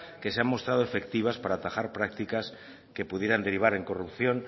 que se han mostrado efectivas para atajar prácticas que pudieran derivar en corrupción